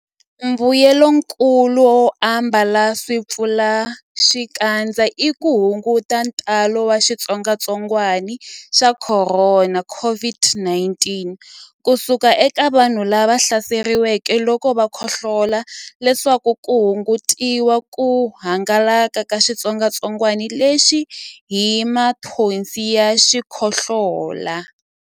Mbuyelonkulu wo ambala swipfalaxikandza i ku hunguta ntalo wa xitsongwantsongwana xa Khorona, COVID-19, ku suka eka vanhu lava hlaseriweke loko va khohlola leswaku ku hungutiwa ku hangalaka ka xitsongwantsongwanalexi hi mathonsi ya xikhohlola.